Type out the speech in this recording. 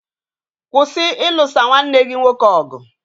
Kwụsị ilusa nwanne gị nwoke ọgụ!